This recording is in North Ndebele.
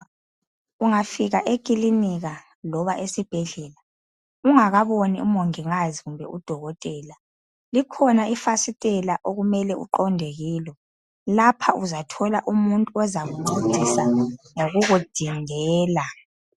Ungafika ekilinika loba esibhedlela ungakaboni umongikazi kumbe udokotela, likhona ifasitela okumele uqonde kilo lapha uzathola umuntu ozakuncedisa ngokukudindela.